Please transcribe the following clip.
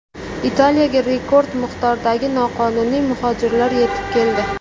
Italiyaga rekord miqdordagi noqonuniy muhojirlar yetib keldi.